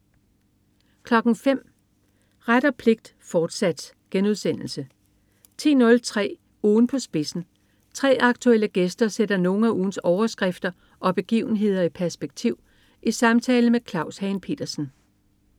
05.00 Ret og pligt, fortsat* 10.03 Ugen på spidsen. 3 aktuelle gæster sætter nogle af ugens overskrifter og begivenhederi perspektiv i samtale med Claus Hagen Petersen